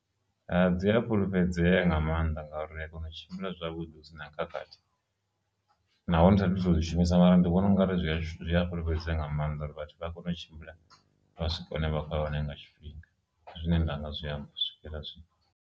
Dzi a fhulufhedzea nga maanḓa ngauri a kona u tshimbila zwavhuḓi hu sina khakhathi, naho ndi sathu to zwi shumisa mara ndi vhona ungari zwi a zwi a fhulufhedzea nga maanḓa vhathu vha kone u tshimbila vha swika hune vha khoya hone nga tshifhinga zwine ndanga zwi amba u swikela zwino.